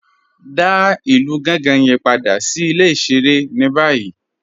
Dá ilù Gànga yẹn padà sí ilẹ̀-ìṣẹ̀rẹ̀ ni bayìí